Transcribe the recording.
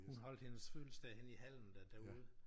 Hun holdt hendes fødselsdag henne i hallen der derude